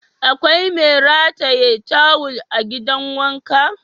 Akwai mai rataye tawul a gidan wanka?